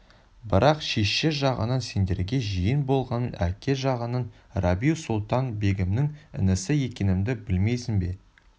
бірақ шеше жағынан сендерге жиен болғанмен әке жағынан рабиу-сұлтан-бегімнің інісі екенімді білмейсің бе